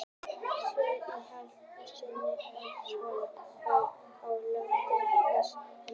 Spurningin í heild sinni hljóðaði svona: Hvar á landinu er helst að finna flöguberg?